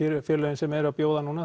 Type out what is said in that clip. félögin sem eru að bjóða núna